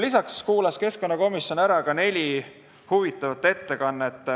Lisaks kuulas keskkonnakomisjon ära neli huvitavat ettekannet.